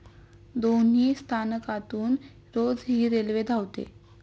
दोन्ही स्थानकातून रोज हि रेल्वे धावते.